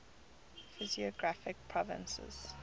physiographic provinces